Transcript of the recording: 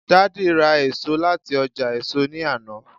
daddy ra eso lati oja èso ni Ana